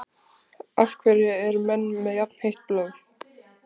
Af hverju eru menn með jafnheitt blóð?